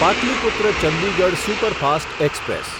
Pataliputra Chandigarh superfast express